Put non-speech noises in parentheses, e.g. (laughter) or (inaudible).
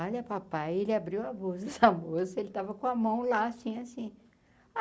Olha, papai, ele abriu a (unintelligible) (laughs) da moça, ele tava com a mão lá assim, assim.